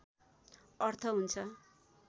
अर्थ हुन्छ